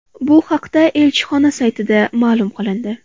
Bu haqda elchixona saytida ma’lum qilindi .